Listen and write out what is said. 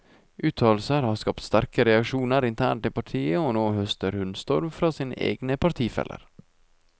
Uttalelsene har skapt sterke reaksjoner internt i partiet, og nå høster hun storm fra sine egne partifeller.